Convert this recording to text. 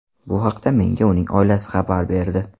Bu haqda menga uning oilasi xabar berdi”.